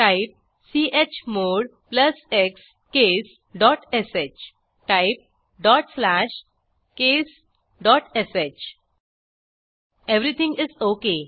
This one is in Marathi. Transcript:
type chmod space plus x space case dot sh type dot slash case dot sh everything is okay